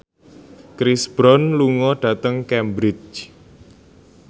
Chris Brown lunga dhateng Cambridge